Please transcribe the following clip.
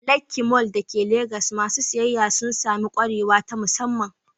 A Lekki Mall da ke Legas, masu siyayya sun sami kwarewa ta musamman.